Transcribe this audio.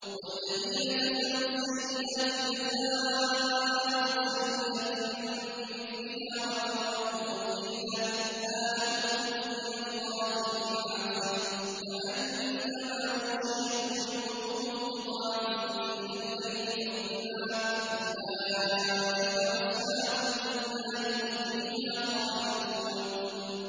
وَالَّذِينَ كَسَبُوا السَّيِّئَاتِ جَزَاءُ سَيِّئَةٍ بِمِثْلِهَا وَتَرْهَقُهُمْ ذِلَّةٌ ۖ مَّا لَهُم مِّنَ اللَّهِ مِنْ عَاصِمٍ ۖ كَأَنَّمَا أُغْشِيَتْ وُجُوهُهُمْ قِطَعًا مِّنَ اللَّيْلِ مُظْلِمًا ۚ أُولَٰئِكَ أَصْحَابُ النَّارِ ۖ هُمْ فِيهَا خَالِدُونَ